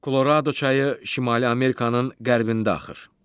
Kolorado çayı Şimali Amerikanın qərbində axır.